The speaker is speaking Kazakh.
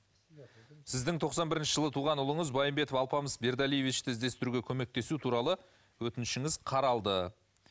сіздің тоқсан бірінші жылы туған ұлыңыз байымбетов алпамыс бердалиевичті іздестіруге көмектесу туралы өтінішіңіз қаралды